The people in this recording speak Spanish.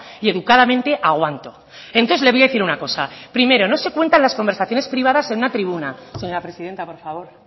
y educadamente aguanto entonces le voy a decir una cosa primero no se cuentan las conversaciones privadas en una tribuna señora presidenta por favor